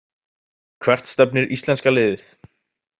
Hvert stefnir íslenska liðið